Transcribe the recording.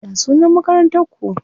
Ya sunan Makarantar ku?